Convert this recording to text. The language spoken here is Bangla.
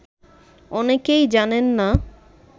অনেকেই জানেন না